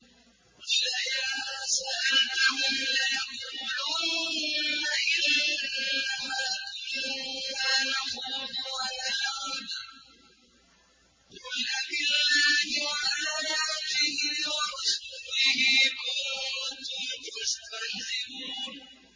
وَلَئِن سَأَلْتَهُمْ لَيَقُولُنَّ إِنَّمَا كُنَّا نَخُوضُ وَنَلْعَبُ ۚ قُلْ أَبِاللَّهِ وَآيَاتِهِ وَرَسُولِهِ كُنتُمْ تَسْتَهْزِئُونَ